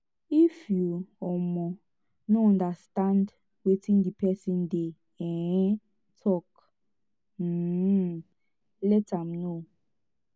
if yu um no understand wetin di pesin dey um tok um let am no